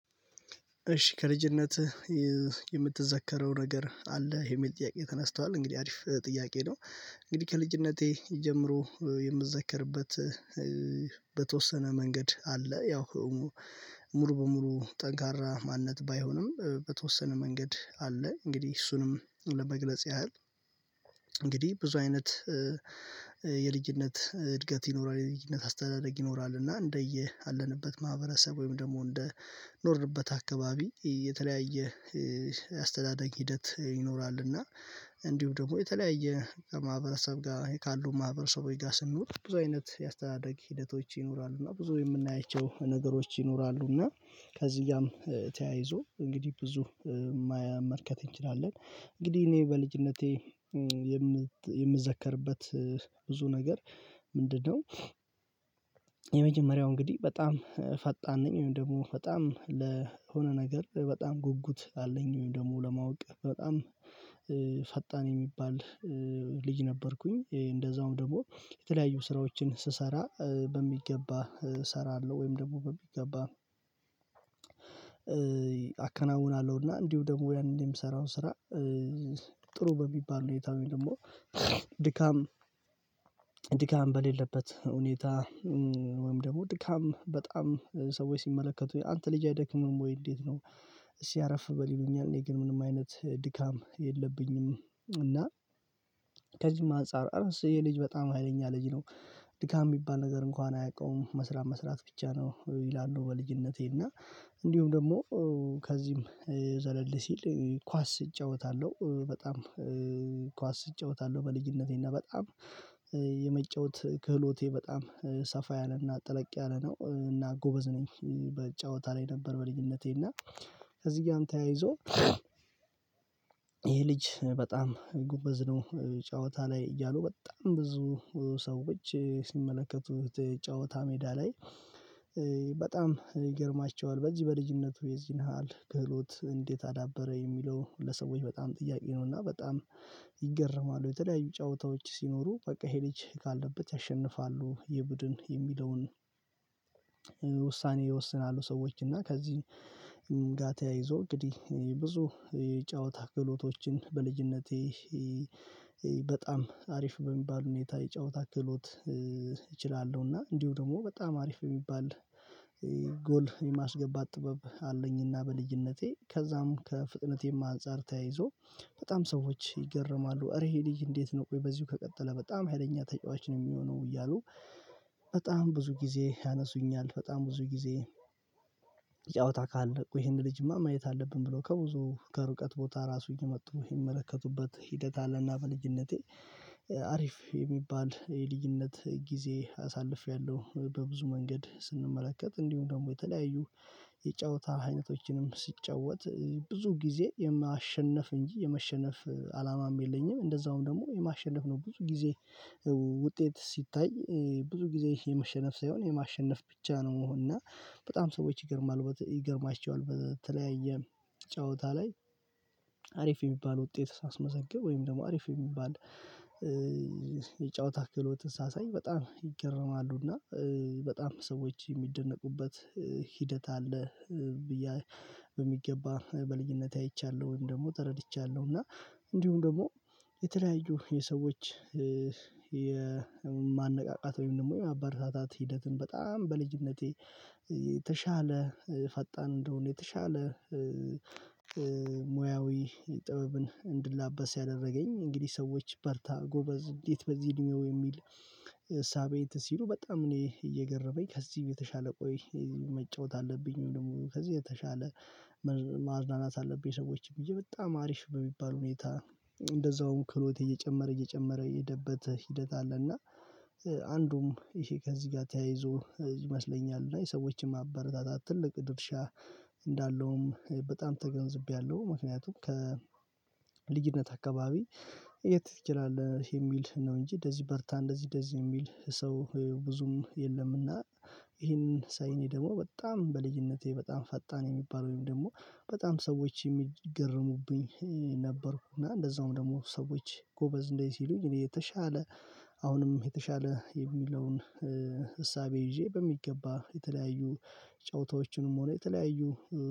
እሺ ከልጅነትህ የምትዘከረው ነገር አለ የሚል ጥያቄ ተነስቷል እንግዲህ አሪፍ ጥያቄ ነው? እንግዲህ ከልጅነቴ ጀምሮ የምዘከርበት በተወሰነ መንገድ አለ። ያው ሙሉ በሙሉ ጠንካራ ማንነት ባይሆንም በተወሰነ መንገድ አለ። እንግዲህ እሱንም ለመግለጽ ያህል እንግዲህ ብዙ አይነት የልጅነት እድገት ይኖራል የልጅነት አስተዳደግ ይኖራል። እና እንደየ አለንበት ማህበረሰብ ወይም ደግሞ እንደ ኖርንበት አካባቢ የተለያየ አስተዳደግ ሂደት ይኖራልና እንዲሁም ደግሞ የተለያየ ማህበረሰብ ጋር ካሉ ማህበረሰቦች ጋር ስንኖር ብዙ አይነት የአስተዳደግ ሂደቶች ይኖራሉ። እና ብዙ የምናያቸው ነገሮች ይኖራሉ። እና ከዚህጋም ተያይዞ እንግዲህ ብዙ መመልከት እንችላለን። እንግዲህ እኔ በልጅነቴ የምዘከርበት ብዙ ነገር ምንድነው? የመጀመሪያው እንግዲህ በጣም ፈጣን ነኝ ወይም ደግሞ በጣም ለሆነ ነገር በጣም ጉጉት አለኝ ወይም ደግሞ ለማወቅ በጣም ፈጣን የሚባል ልጅ ነበርኩኝ። እንደዛውም ደግሞ የተለያዩ ስራዎችን ስሰራ በሚገባ እሰራለሁ ወይም ደግሞ በሚገባ አከናውናለሁና። እንዲሁም ደግሞ ያንን የምሰራውን ስራ ጥሩ በሚባል ሁኔታ ወይም ደግሞ ድካም ድካም በሌለበት ሁኔታ ወይም ደግሞ ድካም በጣም ሰዎች ሲመለከቱኝ አንተ ልጅ አይደክምህም ወይ እንዴት ነው እስኪ አረፍ በል ይሉኛል? እኔ ግን ምንም አይነት ድካም የለብኝም። እና ከዚህም አንፃር ኧረስ ይሄ ልጅ በጣም ሀይለኛ ልጅ ነው። ድካም የሚባል ነገር እንኳን አያውቀውም መስራት መስራት ብቻ ነው ይላሉ። በልጅነቴ እና እንዲሁም ደግሞ ከዚህም ዘለል ሲል ኳስ እጫወታለሁ በጣም ኳስ እጫወታለሁ። በልጅነቴና በጣም የመጫወት ክህሎቴ በጣም ሰፋ ያለና ጠልቅ ያለ ነው እና ጎበዝ ነኝ በጨዋታ ላይ ነበር። በልጅነቴና ከዚህ ጋር ተያይዞ ይሄ ልጅ በጣም ጎበዝ ነው ጨዋታ ላይ እያሉ በጣም ብዙ ሰዎች ሲመለከቱት ጨዋታ ሜዳ ላይ በጣም ይገርማቸዋል በዚህ በልጅነቱ የዚህን ያህል ክህሎት እንዴት አዳበረ የሚለው ለሰዎች በጣም ጥያቄ ነውና በጣም ይገረማሉ። የተለያዩ ጨዋታዎች ሲኖሩ በቃ ይሄ ልጅ ካለበት ያሸንፋሉ ይህ ቡድን የሚለውን ውሳኔ ይወስናሉ። ሰዎች እና ከዚህ ጋርም ተያይዞ እንግዲህ ብዙ የጨዋታ ክህሎቶችን በልጅነቴ በጣም አሪፍ በሚባል ሁኔታ የጫወታ ክህሎት እችላለሁና እንዲሁም ደግሞ በጣም አሪፍ በሚባል ጎል የማስገባት ጥበብ አለኝና በልጅነቴ ከዛም ከፍጥነቴም አንፃር ተያይዞ በጣም ሰዎች ይገረማሉ። እረ ይሄ ልጅ እንዴት ነው ቆይ በዚሁ ከቀጠለ በጣም ሀይለኛ ተጫዋች ነው የሚሆነው እያሉ። በጣም ብዙ ጊዜ ያነሱኛል በጣም ብዙ ጊዜ ጫውታ ካለ ይሄንን ልጅማ ማየት አለብን ብለው ከብዙ ከርቀት ቦታ ራሱ እየመጡ የሚመለከቱበት ሂደት አለና። በልጅነቴ የሚባል የልጅነት ጊዜ አሳልፌያለሁ በብዙ መንገድ ስንመለከት እንዲሁም ደግሞ የተለያዩ የጨዋታ አይነቶችንም ስጫወት ብዙ ጊዜ የማሸነፍ እንጂ የመሸነፍ አላማም የለኝም። እንደዛውም ደግሞ የማሸነፍ ነው ብዙ ጊዜ ውጤት ሲታይ ብዙ ጊዜ የመሸነፍ ሳይሆን የማሸነፍ ብቻ ነው መሆን እና በጣም ሰዎች ይገርማል ይገርማቸዋል በተለያየ ጨዋታ ላይ አሪፍ የሚባል ውጤት ሳስመዘገብ ወይም ደግሞ አሪፍ የሚባል ታክሎትን ሳሳይ በጣም ይገርማሉና። በጣም ሰዎች የሚደነቁበት ሂደት አለ ብዬ በሚገባ በልኝነቴ አይቻለሁ ወይም ደግሞ ተረድቻለሁ። እና እንዲሁም ደግሞ የተለያዩ የሰዎች የማነቃቃት ወይም ደግሞ የማበረታታት ሂደትን በጣም በልጅነቴ የተሻለ ፈጣን እንደሆነ የተሻለ ሙያዊ ጥበብን እንድላበስ ያደረገኝ እንግዲህ ሰዎች በርታ ጎበዝ እንዴት በዚህ እድሜው የሚል እሳቤ ሲሉ በጣም እኔ የገረመኝ ከዚህ የተሻለ ቆይ መጫወት አለብኝ ወይም ደግሞ ከዚህ የተሻለ ማዝናናት አለብኝ ሰዎችን ብዬ በጣም አሪፍ በሚባል ሁኔታ እንደዛውም ክህሎቴ እየጨመረ እየጨመረ የሄደበት ሂደት አለ። እና አንዱም ይሄ ከዚህ ጋር ተያይዞ ይመስለኛል እና የሰዎችን ማበረታታት ትልቅ ድርሻ እንዳለውም በጣም ተገንዝቤያለሁ። ምክንያቱም ከልጅነት አካባቢ የት ትችላለህ የሚል ነው እንጂ እንደዚህ በርታ እንደዚህ እንደዚህ የሚል ሰው ብዙም የለምና። ይሄንን ሳይ እኔ ደግሞ በጣም በልጅነቴ በጣም ፈጣን የሚባል ውይም ደግሞ በጣም ሰዎች የሚገርሙብኝ ነበርኩና እንደዛውም ደግሞ ሰዎች ጎበዝ እንደዚህ ሲሉኝ እኔ የተሻለ አሁንም የተሻለ የሚለውን እሳቤ ይዤ በሚገባ የተለያዩ ጨዋታዎችንም ሆነ የተለያዩ።